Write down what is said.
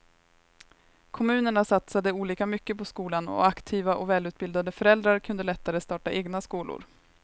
Kommunerna satsade olika mycket på skolan och aktiva och välutbildade föräldrar kunde lättare starta egna skolor.